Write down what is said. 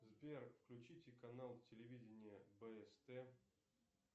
сбер включите канал телевидения бст